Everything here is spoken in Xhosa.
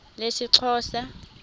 lesixhosa